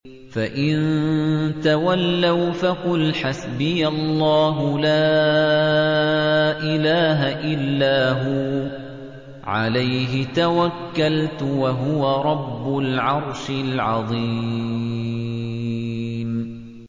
فَإِن تَوَلَّوْا فَقُلْ حَسْبِيَ اللَّهُ لَا إِلَٰهَ إِلَّا هُوَ ۖ عَلَيْهِ تَوَكَّلْتُ ۖ وَهُوَ رَبُّ الْعَرْشِ الْعَظِيمِ